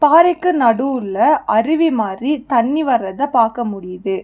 பாறைக்கு நடுவுல அருவி மாரி தண்ணி வர்ரத பாக்க முடியிது.